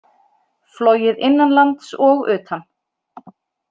Flogið innanlands og utan